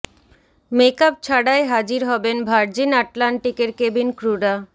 make up ছাড়াই হাজির হবেন ভার্জিন আটলান্টিকের কেবিন ক্রুরা